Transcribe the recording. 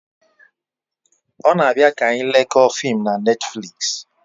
O na abia ka anyi lekoo fim na Netflịks